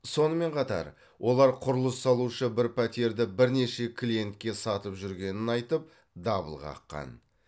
сонымен қатар олар құрылыс салушы бір пәтерді бірнеше клиентке сатып жүргенін айтып дабыл қаққан